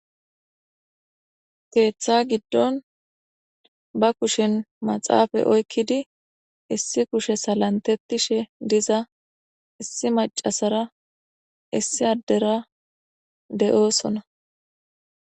keeththa giddon ba kushen maxaafay oykkidi issi kushe salantettishe diza issi macasara issi addera de7oosona